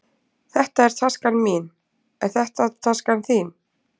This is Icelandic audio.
Þetta er taskan mín. Er þetta taskan þín?